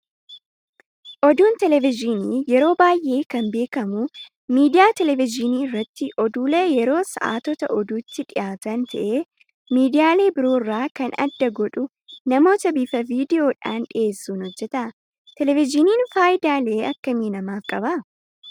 Oduun televezyiinii yeroo baay'ee kan beekamu miidiyaa televezyiinii irratti oduulee yeroo sa'aatota oduutti dhiyaatan ta'ee miidyaalee biroorraa kan adda godhu namoota bifa viidiyoodhaan dhiyeessuun hojjata. Televezyiiniin fayidaalee akkamii namaaf qaba?